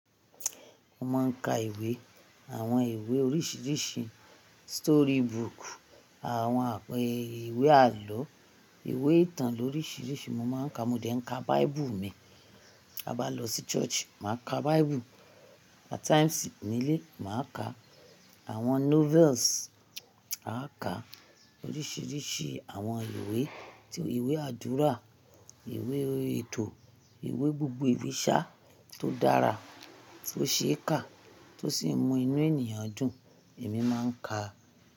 Mo máa ń ka ìwé, àwọn ìwé oríṣiríṣi, storybook, àwọn ìwé àlọ́, ìwé ìtàn lóríṣiríṣi mo máa ń ka. Mo dẹ̀ ń ka bible mi. A bá lọ sí church, màá ka bible. At times ní ilé, màá ka àwọn novels. A ka oríṣiríṣi àwọn ìwé, tí ìwé àdúrà, ìwé ètò, ìwé gbogbo ìbí ṣá tó dára, tí ó ṣe é kà, tó sì mú inú ènìyàn dùn, èmi máa ń ka.